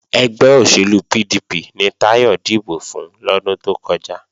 Ẹgbẹ́ òṣèlú PDP ni Táyọ̀ dìbò fún lọ́dún tó kọjá